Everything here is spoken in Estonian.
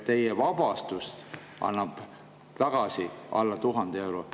Teie vabastus annab tagasi alla 1000 euro.